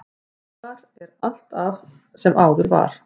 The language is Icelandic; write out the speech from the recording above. Þar er allt af sem áður var.